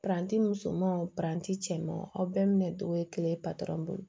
musomanw paranti cɛmanw aw bɛɛ minɛ togo ye kelen patɔrɔn bolo